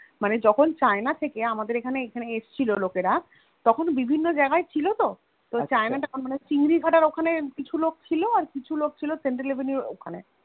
মানে যখুন China থেকে আমাদের এখানে এসছিল লোকেরা তখন বিভিন্ন জায়গা ছিল তো china town চিংড়ি ঘটার ওখানে কিছু লোক ছিল আর কিছু লোক ছিল Central avenue এর ওখানে